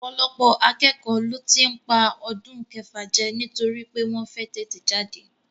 Ọ̀pọ̀lọpọ̀ akẹ́kọ̀ọ́ ló tí ń pa ọdún kẹfà jẹ nítorí pé wọ́n fẹ́ tètè jáde